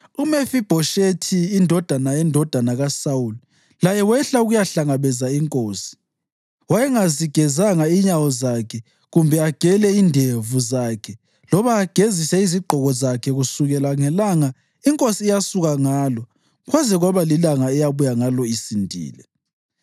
UMefibhoshethi, indodana yendodana kaSawuli, laye wehla ukuyahlangabeza inkosi. Wayengazigezanga inyawo zakhe kumbe agele indevu zakhe loba agezise izigqoko zakhe kusukela ngelanga inkosi eyasuka ngalo kwaze kwaba lilanga eyabuya ngalo isindile.